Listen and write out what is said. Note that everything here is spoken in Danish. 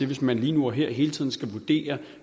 hvis man lige nu og her og hele tiden skal vurdere